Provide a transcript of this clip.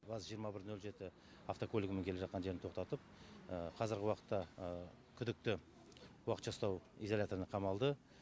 ваз жиырма бір нөл жеті автокөлігімен келе жатқан жерінде тоқтатып қазіргі уақытта күдікті уақытша ұстау изоляторына қамалды